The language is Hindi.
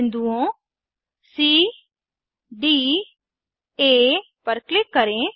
बिन्दुओं cडी आ पर क्लिक करें